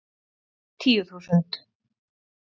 Tíu þúsund